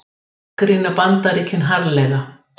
Gagnrýna Bandaríkin harðlega